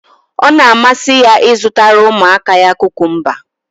Ọ na-amasị ya ịzụtara ụmụaka ya kukumba.